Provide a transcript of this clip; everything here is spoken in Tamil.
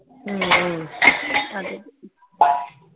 ஆஹ்